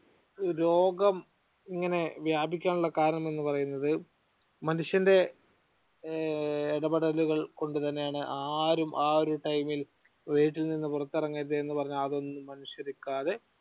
രോഗം ഇങ്ങനെ വ്യാപിക്കാനുള്ള കാരണം എന്ന് പറയുന്നത് മനുഷ്യന്റെ ഇടപെടലുകൾ കൊണ്ട് തന്നെയാണ്. ആരും ആ ഒരു time യിൽ വീട്ടിൽ നിന്ന് പുറത്തിറങ്ങരുത് എന്നുപറഞ്ഞ അതൊന്നും മനസ്സിൽ വെക്കാതെ